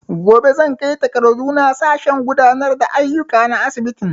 Gobe zan kai takardu na sashen gudanar da aiyuka na asibitin